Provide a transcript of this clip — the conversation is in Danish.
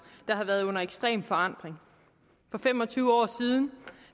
der har været under ekstrem forandring for fem og tyve år siden